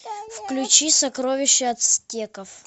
включи сокровища ацтеков